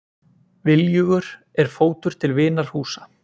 Viljugur er fótur til vinar húsa.